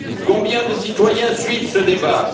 Combien de citoyens suivent ce débat?